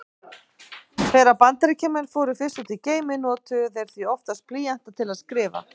Þegar Bandaríkjamenn fóru fyrst út í geiminn notuðu þeir því oftast blýanta til að skrifa.